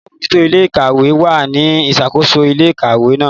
Alabojuto ile-ikawe wa ni isakoso ile-ikawe náà.